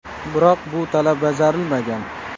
Biroq bu talab bajarilmagan.